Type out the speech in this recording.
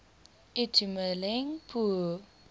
itumeleng pooe